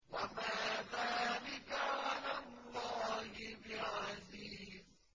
وَمَا ذَٰلِكَ عَلَى اللَّهِ بِعَزِيزٍ